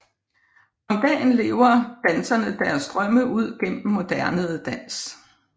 Om dagen lever danserne deres drømme ud gennem moderne dans